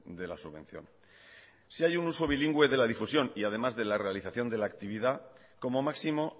de la subvención si hay un uso bilingüe de la difusión y además de la realización de la actividad como máximo